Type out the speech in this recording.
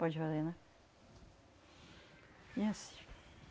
Pode valer, né?